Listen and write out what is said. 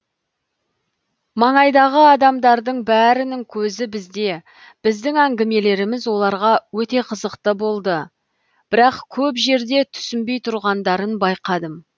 маңайдағы адамдардың бәрінің көзі бізде біздің әңгімелеріміз оларға өте қызықты болды бірақ көп жерде түсінбей тұрғандарын байқадым